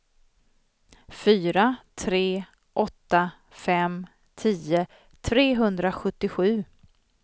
fyra tre åtta fem tio trehundrasjuttiosju